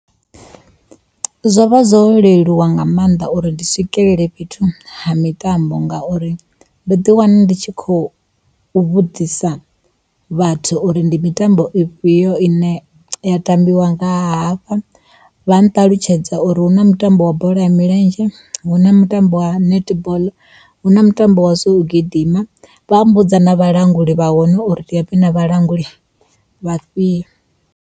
Zwo vha zwo leluwa nga maanḓa uri ndi swikelele fhethu ha mitambo ngauri ndo ḓi wana ndi tshi khou u vhudzisa vhathu uri ndi mitambo ifhio ine ya tambiwa nga hafha. vha nṱalutshedza uri huna mutambo wa bola ya milenzhe, huna mutambo wa netball, huna mutambo wa zwo gidima vha mmbudza na vhalanguli vha hone uri ndi vhafhio na vhalanguli vhafhio.